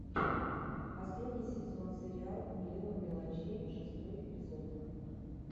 последний сезон сериал миллион мелочей шестой эпизод